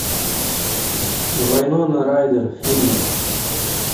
вайнона райдер фильмы